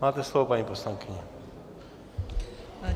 Máte slovo, paní poslankyně.